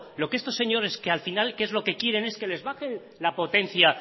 lo que estos señores que al final que es lo que quieren es que les baje la potencia